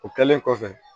O kɛlen kɔfɛ